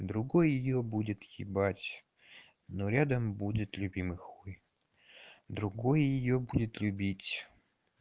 другой её будет ебать но рядом будет любимый хуй другой её будет любить